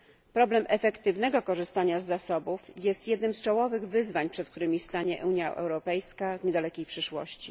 Problem efektywnego korzystania z zasobów jest jednym z czołowych wyzwań, przed którymi stanie Unia Europejska w niedalekiej przyszłości.